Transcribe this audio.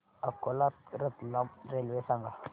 Akola Ratlam railway सांगा